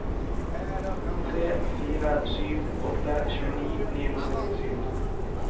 tre fire sju åtte tjueni ni hundre og femtisju